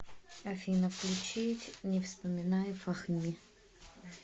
афина включить не вспоминай фахми